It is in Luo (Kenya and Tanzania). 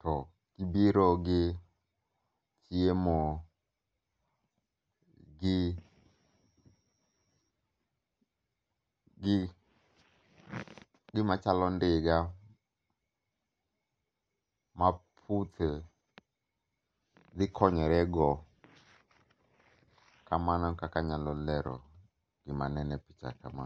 To gibiro gi chiemo gi, gi gimachalo ndiga ma puthe dhi konyore go. Kamano e kaka nyalo lero gima neno e picha kama.